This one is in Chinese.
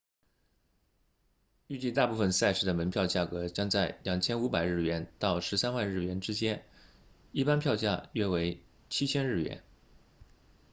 预计大部分赛事的门票价格将在 2,500 日元到13万日元之间一般票价约为 7,000 日元